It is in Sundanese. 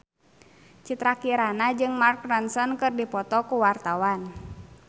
Citra Kirana jeung Mark Ronson keur dipoto ku wartawan